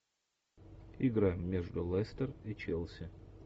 игра между лестер и челси